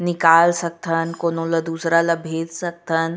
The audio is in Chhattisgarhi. निकाल सकथन कोनो ल दूसरा ल भेज सकथन।